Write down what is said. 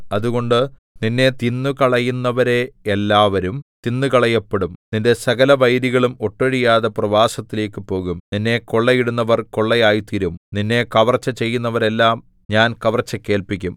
അതുകൊണ്ട് നിന്നെ തിന്നുകളയുന്നവരെയെല്ലാവരും തിന്നുകളയപ്പെടും നിന്റെ സകല വൈരികളും ഒട്ടൊഴിയാതെ പ്രവാസത്തിലേക്കു പോകും നിന്നെ കൊള്ളയിടുന്നവർ കൊള്ളയായിത്തീരും നിന്നെ കവർച്ച ചെയ്യുന്നവരെയെല്ലാം ഞാൻ കവർച്ചയ്ക്ക് ഏല്പിക്കും